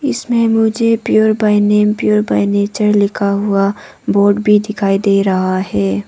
इसमें मुझे pure by name pure by nature लिखा हुआ बोर्ड भी दिखाई दे रहा है।